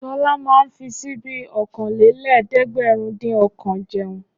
Ṣọlá máa ń fi ṣíbí okòólélẹ́ẹ̀dẹ́gbẹ̀rúndínọ̀kan jẹun.